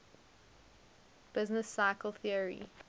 business cycle theory